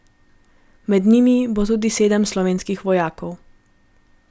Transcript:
Med njimi bo tudi sedem slovenskih vojakov.